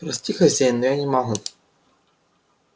прости хозяин но я не могу